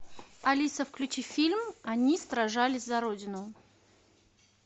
алиса включи фильм они сражались за родину